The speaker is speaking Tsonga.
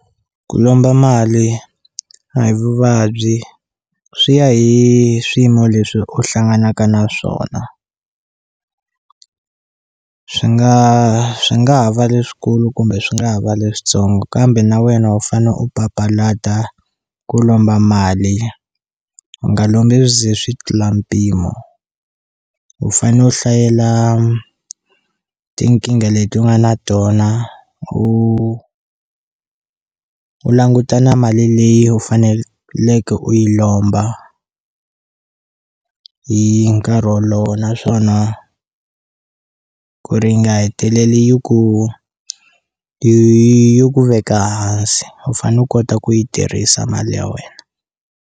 Ku lomba mali a hi vuvabyi swi ya hi swiyimo leswi u hlanganaka na swona, swi nga swi nga ha va leswikulu kumbe swi nga ha va leswitsongo kambe na wena u fane u papalata ku lomba mali u nga lombi swi ze swi tlula mpimo u fane u hlayela tinkingha leti u nga na tona u u languta na mali leyi u faneleke u yi lomba hi nkarhi wolowo naswona ku ri nga heteleli yi ku ku veka hansi u fane u kota ku yi tirhisa mali ya wena.